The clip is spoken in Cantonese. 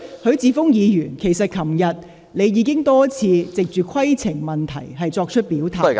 許智峯議員，其實你昨天已經多次藉規程問題作出表態......